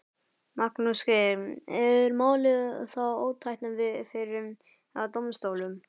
Magnús Geir: Er málið þá ótækt fyrir dómsstólum?